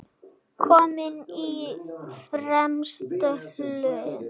Kominn á fremsta hlunn.